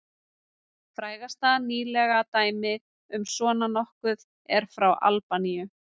Frægasta nýlega dæmið um svona nokkuð er frá Albaníu.